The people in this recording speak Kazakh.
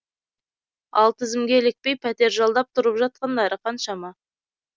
ал тізімге ілікпей пәтер жалдап тұрып жатқандары қаншама